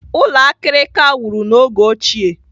Ụlọ akirika wuru n'oge ochie.